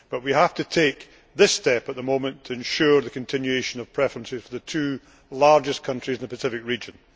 But we have to take this step at the moment to ensure the continuation of preferences for the two largest countries in the Pacific region.